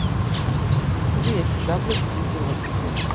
да хули я себя блять увидела таким